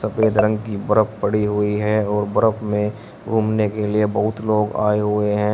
सफेद रंग की बर्फ पड़ी हुई है और बर्फ में घूमने के लिए बहुत लोग आए हुए हैं।